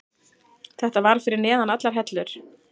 Þetta var fyrir neðan allar hellur.